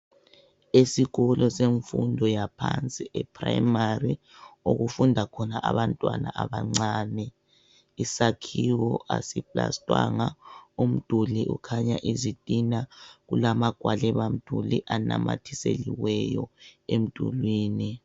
Esikolo semfundo yaphansi eprimary okufunda khona abantwana abancane isakhiwo asiplastwanga umduli ukhanya izitina. Kulamagwaliba mduli anamathiselweyo emdulini.